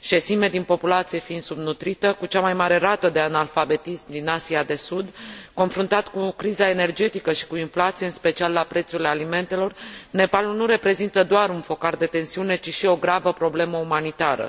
șesime din populație fiind subnutrită, cu cea mai mare rată de analfabetism din Asia de Sud, confruntat cu criza energetică și cu inflația, în special la prețul alimentelor, Nepalul nu reprezintă doar un focar de tensiune, ci și o gravă problemă umanitară.